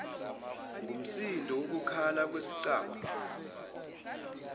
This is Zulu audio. ngumsindo wokukhala kwesicabha